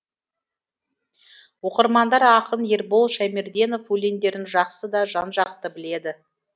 оқырмандар ақын ербол шаймерденов өлеңдерін жақсы да жан жақты біледі